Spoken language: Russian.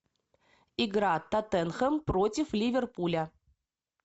игра тоттенхэм против ливерпуля